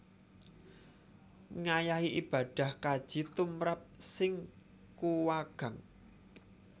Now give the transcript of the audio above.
Ngayahi ibadah Kaji tumrap sing kuwagang